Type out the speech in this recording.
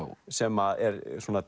sem er